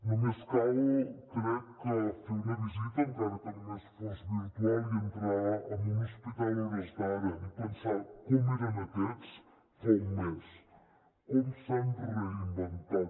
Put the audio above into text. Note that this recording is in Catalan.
només cal crec fer una visita encara que només fos virtual i entrar en un hospital a hores d’ara i pensar com eren aquests fa un mes com s’han reinventat